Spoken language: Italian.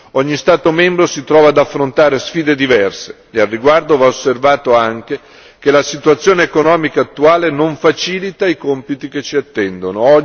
Ogni Stato membro si trova ad affrontare sfide diverse, e al riguardo va osservato anche che la situazione economica attuale non facilita i compiti che ci attendono.